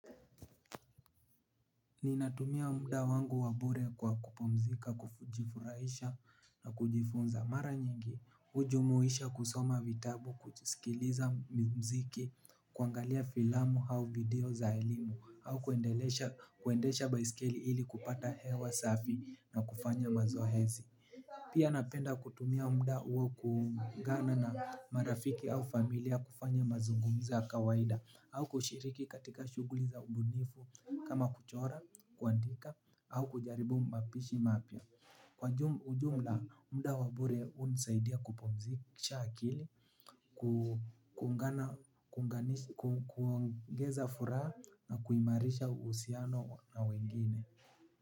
Ninatumia muda wangu wabure kwa kupumzika, kujifurahisha na kujifunza. Mara nyingi, ujumuisha kusoma vitabu, kujisikiliza mziki, kuangalia filamu au video za elimu, au kuendesha baiskeli ili kupata hewa safi na kufanya mazoezi. Pia napenda kutumia muda huo kuungana na marafiki au familia kufanya mazungumzo ya kawaida au kushiriki katika shughuli za ubunifu kama kuchora, kuandika au kujaribu mapishi mapya. Kwa ujumla, muda wa bure hunisaidia kupumzisha akili, kuongeza furaha na kuimarisha uhusiano na wengine.